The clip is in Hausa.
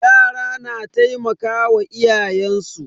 Yara na taimakawa iyayen su.